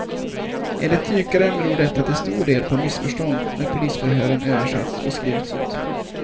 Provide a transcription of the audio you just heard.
Enligt dykaren beror detta till stor del på missförstånd när polisförhören översatts och skrivits ut.